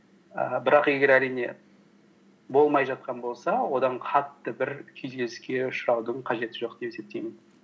ііі бірақ егер әрине болмай жатқан болса одан қатты бір күйзеліске ұшыраудың қажеті жоқ деп есептеймін